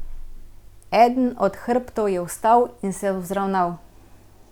Eden od hrbtov je vstal in se vzravnal.